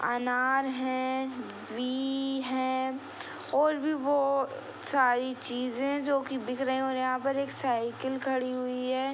अनार हैं है और भी बहुत सारी चीज है जो दिख रहे है और यहाँ पे एक साइकिल खड़ी हुई है।